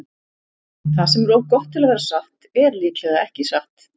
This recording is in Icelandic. Það sem er of gott til að vera satt er líklega ekki satt.